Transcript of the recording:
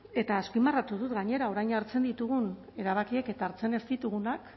eta azpimarratu dut gainera orain hartzen ditugun erabakiek eta hartzen ez ditugunek